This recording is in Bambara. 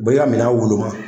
U bi ka minan woloma